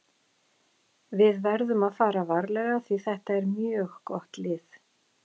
Við verðum að fara varlega því þetta er mjög gott lið.